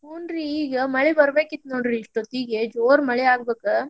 ಹುನ್ರಿ ಈಗ ಮಳಿ ಬರ್ಬೇಕಿತ್ತ್ ನೋಡ್ರಿ ಇಷ್ಟೊತ್ತಿಗೆ ಜೋರ್ ಮಳಿ ಆಗ್ಬೇಕ.